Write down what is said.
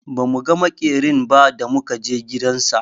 Ba mu ga maƙerin ba da muka je gidan sa.